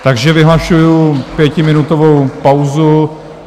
Takže vyhlašuji pětiminutovou pauzu.